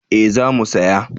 Eh za mu saya